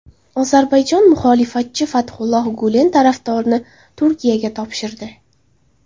Ozarbayjon muxolifatchi Fathulloh Gulen tarafdorini Turkiyaga topshirdi.